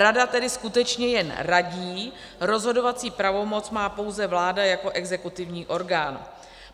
Rada tedy skutečně jen radí, rozhodovací pravomoc má pouze vláda jako exekutivní orgán.